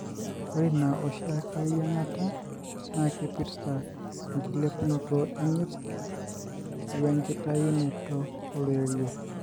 ore ina oshiake yiangata na kipirta engilepunoto enyirt wengitayunoto oloirerio.